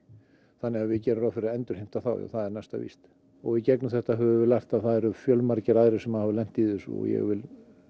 þannig að við gerum ráð fyrir að endurheimta þá já það er næsta víst og í gegn um þetta höfum við lært að það eru fjölmargir aðrir sem hafa lent í þessu og ég vil